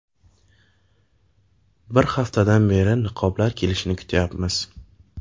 Bir haftadan beri niqoblar kelishini kutyapmiz”.